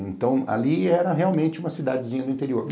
Então, ali era realmente uma cidadezinha do interior.